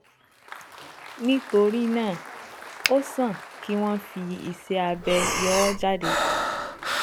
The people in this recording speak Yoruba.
Nítorí náà, ó sàn kí wọ́n fi iṣẹ́ abẹ yọ ọ́ jáde